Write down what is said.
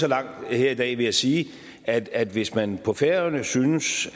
langt her i dag ved at sige at at hvis man på færøerne synes